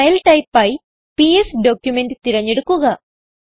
file type ആയി PS document തിരഞ്ഞെടുക്കുക